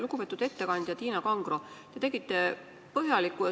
Lugupeetud ettekandja Tiina Kangro!